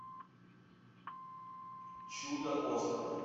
чудо остров